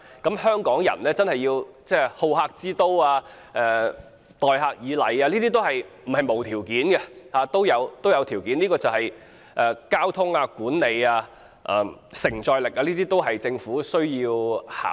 要香港維持好客之都的聲譽，要香港人待客以禮，不是沒有條件，而是需要交通、管理及承載力方面的配合，這些都是政府需要考慮的事。